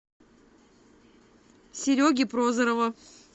сереги прозорова